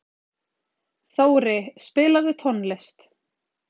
Þóri, spilaðu tónlist.